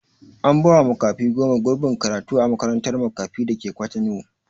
An ba wa makafi goma gurbin karatu a makarantar makafi dake kwatano